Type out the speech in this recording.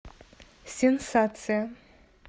сенсация